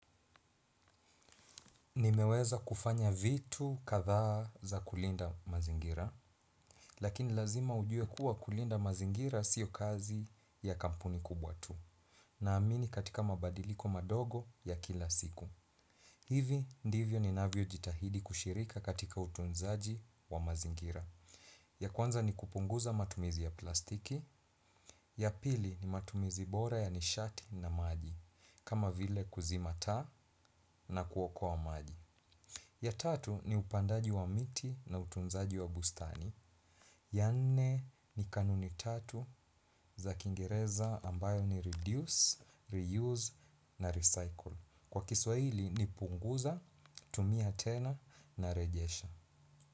Nimeweza kufanya vitu kadhaa za kulinda mazingira, lakini lazima ujue kuwa kulinda mazingira sio kazi ya kampuni kubwa tu. Nina amini katika mabadiliko madogo ya kila siku. Hivi ndivyo ninavyo jitahidi kushirika katika utunzaji wa mazingira. Ya kwanza ni kupunguza matumizi ya plastiki, ya pili ni matumizi bora ya nishati na maji, kama vile kuzima taa na kuokoa maji. Ya tatu ni upandaji wa miti na utunzaji wa bustani. Ya nne ni kanuni tatu za kingereza ambayo ni reduce, reuse na recycle. Kwa kiswahili ni punguza, tumia tena na rejesha.